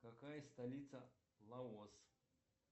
какая столица лаос